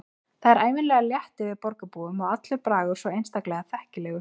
Það er ævinlega létt yfir borgarbúum og allur bragur svo einstaklega þekkilegur.